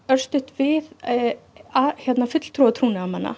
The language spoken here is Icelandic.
við fulltrúa trúnaðarmanna